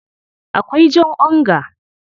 Akwai jan onga.